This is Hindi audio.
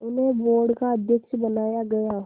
उन्हें बोर्ड का अध्यक्ष बनाया गया